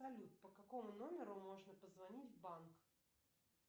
салют по какому номеру можно позвонить в банк